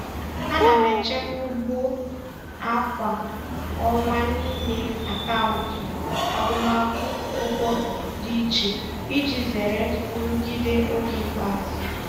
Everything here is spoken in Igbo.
Ana m echekwa ugbu a kwa ọnwa n'ime akaụntụ agụmakwụkwọ dị iche iji zere nrụgide oge ikpeazụ.